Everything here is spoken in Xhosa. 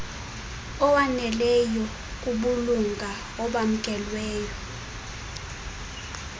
awaneleyo kubulunga obamkelweyo